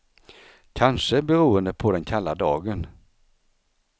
Kanske beroende på den kalla dagen.